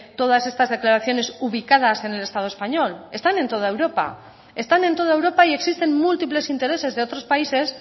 todas estas declaraciones ubicadas en el estado español están en toda europa están en toda europa y existen múltiples intereses de otros países